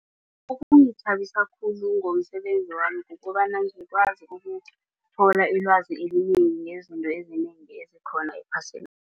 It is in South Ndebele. Okungithabisa khulu ngomsebenzi wami kukobana ngikwazi ukuthola ilwazi elinengi ngezinto ezinengi ezikhona ephasini.